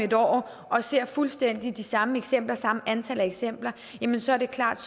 et år og ser fuldstændig de samme eksempler samme antal eksempler så er det klart